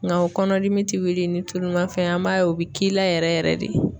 Nga o kɔnɔdimi ti wuli ni tulumafɛn ye an b'a ye o bi k'i la yɛrɛ yɛrɛ de